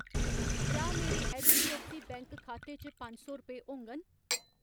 क्या मेरे HDFC bank खाते च पंज सौ रपेऽ होङन ?